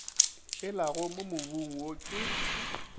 elago mo mobung wo ke